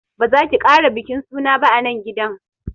Ba zaki kara bikin suna ba anan gidan